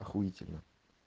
ахуительно